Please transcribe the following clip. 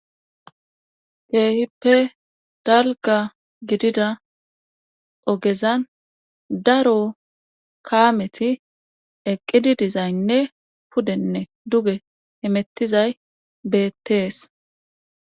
Keehippe dalga gidida ogezan daro kaameti eqqidi dizaynne pudenne duge hemettizay beettees.